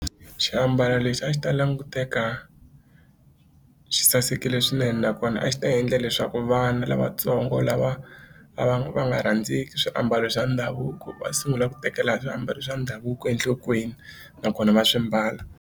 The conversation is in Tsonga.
Xiambalo lexi a xi ta languteka xi sasekile swinene nakona a xi ta endla leswaku vana lavatsongo lava va va va nga rhandzeki swiambalo swa ndhavuko va sungula ku tekela swiambalo swa ndhavuko enhlokweni nakona va swi mbala.